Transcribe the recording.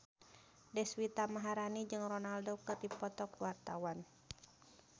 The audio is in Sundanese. Deswita Maharani jeung Ronaldo keur dipoto ku wartawan